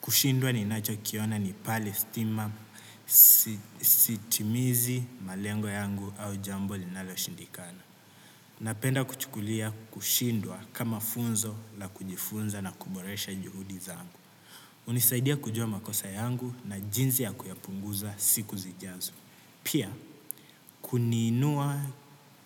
Kushindwa ni nacho kiona ni pale stima sitimizi malengo yangu au jambo linalo shindikana. Napenda kuchukulia kushindwa kama funzo la kujifunza na kuboresha juhudi zangu. Nisaidia kujua makosa yangu na jinsi ya kuyapunguza siku zijazo. Pia kuniinua